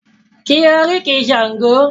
Ki oríkì Sango!